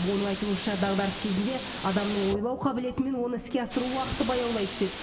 оның айтуынша дағдарыс кезінде адамның ойлау қабілеті мен оны іске асыру уақыты баяулай түседі